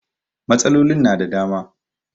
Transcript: Matsalolin na da dama